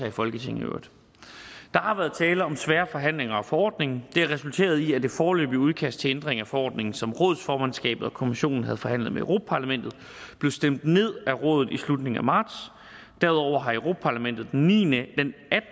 i folketinget der har været tale om svære forhandlinger om forordningen det har resulteret i at det foreløbige udkast til ændring af forordningen som rådets formandskab og europa kommissionen havde forhandlet med europa parlamentet blev stemt ned af rådet i slutningen af marts derudover har europa parlamentet den attende